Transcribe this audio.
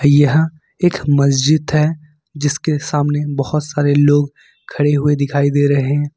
यह एक मस्जिद है जिसके सामने बहुत सारे लोग खड़े हुए दिखाई दे रहे हैं।